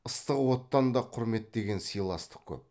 ыстық оттан да құрметтеген сыйластық көп